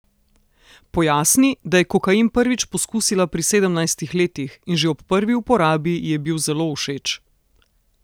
Pojasni, da je kokain prvič poskusila pri sedemnajstih letih in že ob prvi uporabi ji je bil zelo všeč.